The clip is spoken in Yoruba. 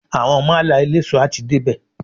Àwọn málà eléso a ti dé bè.